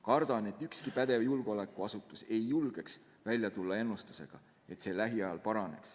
Kardan, et ükski pädev julgeolekuasutus ei julge välja tulla ennustusega, et see lähiajal paraneb.